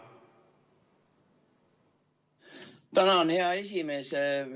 Tänan, hea esimees!